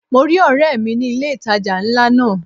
Mo rí ọ̀rẹ́ mi ní ilé ìtajà ńlá náà.